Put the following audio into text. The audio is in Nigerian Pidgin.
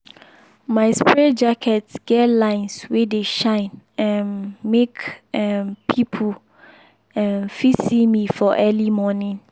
my spray jacket get lines wey dey shine um make um people um fit see me for early morning.